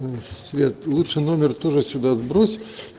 свет лучше номер тоже сюда сбрось